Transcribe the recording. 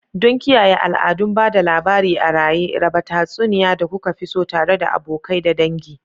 Don kiyaye al'adun ba da labari a raye, raba tatsuniya da kuka fi so tare da abokai da dangi.